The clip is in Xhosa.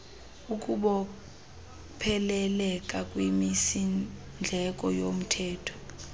ukubopheleleka kwimisindleko yalomthetho